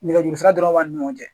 Nɛgɛjurusira dɔrɔn b'an ni ɲɔgɔn cɛ